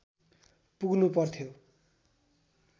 पुग्नु पर्थ्यो